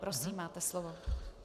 Prosím, máte slovo.